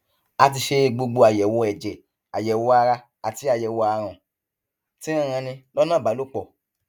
a ti ṣe gbogbo àyẹwò ẹjẹ àyẹwò ara àti àyẹwò àrùn tí ń ranni lọnà ìbálòpọ